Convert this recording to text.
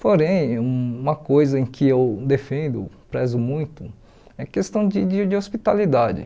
Porém, uma coisa em que eu defendo, prezo muito, é a questão de de de hospitalidade.